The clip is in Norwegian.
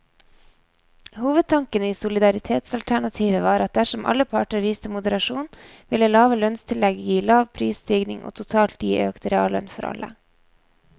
Hovedtanken i solidaritetsalternativet var at dersom alle parter viste moderasjon, ville lave lønnstillegg gi lav prisstigning og totalt gi økt reallønn for alle.